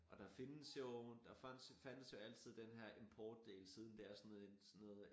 Og der findes jo der fandt der fandtes joaltid den her importdel siden det er sådan noget sådan noget